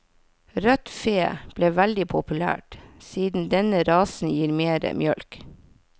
Rødt fe ble veldig populært, siden denne rasen gir mere mjølk.